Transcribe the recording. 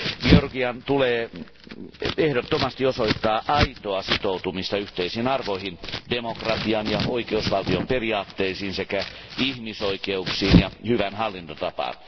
Georgian tulee ehdottomasti osoittaa aitoa sitoutumista yhteisiin arvoihin, demokratian ja oikeusvaltion periaatteisiin sekä ihmisoikeuksiin ja hyvään hallintotapaan.